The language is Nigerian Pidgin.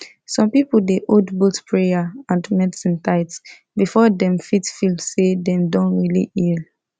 some people dey hold both prayer and medicine tight before dem fit feel say dem don really heal